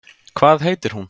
Hvað heitir hún?